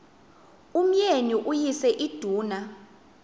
umyeni uyise iduna